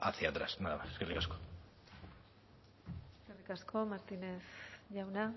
hacia atrás nada más eskerrik asko eskerrik asko martínez jauna